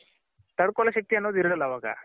ತಡ್ಕೋಳೋ ಶಕ್ತಿ ಅನ್ನೋದ್ ಇರಲ್ಲ ಅವಾಗ.